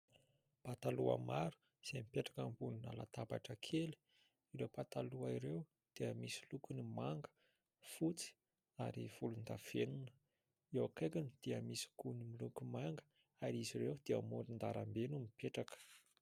Pataloha maro izay mipetraka ambony latabatra kely. Ireo pataloha ireo dia misy lokony manga, fotsy ary volondavenona. Eo akaikiny dia misy koa ny miloko manga ary izy ireo dia amoron'arabe no mipetraka.